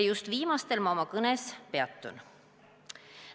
Just viimastel ma oma kõnes peatun.